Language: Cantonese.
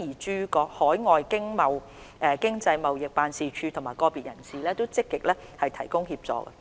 駐海外的經濟貿易辦事處和個別人士也積極提供協助。